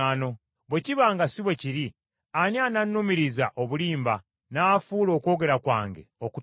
“Bwe kiba nga si bwe kiri, ani anannumiriza obulimba, n’afuula okwogera kwange okutaliimu?”